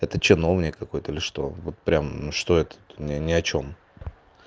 это чиновник какой-то ли что прям что это не ни о чем